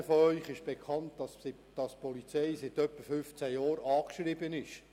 Ihnen allen ist bekannt, dass die Polizei seit etwa 15 Jahren angeschrieben ist.